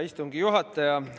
Hea istungi juhataja!